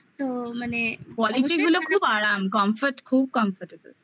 quality গুলো খুব আরাম. comfort খুব comfortable